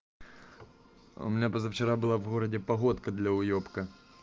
у меня позавчера была в городе погодка для уебка